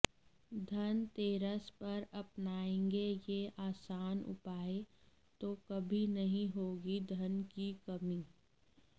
धनतेरस पर अपनाएंगे ये आसान उपाय तो कभी नही होगी धन की कमी